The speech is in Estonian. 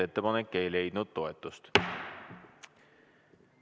Ettepanek ei leidnud toetust.